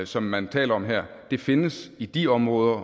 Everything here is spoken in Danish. som man taler om her findes i de områder